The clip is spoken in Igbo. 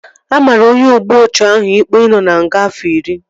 A maara onye ogbu ọchụ ahụ ikpe ị nọ na nga afọ iri